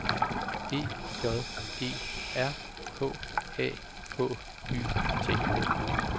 E J E R K A H Y T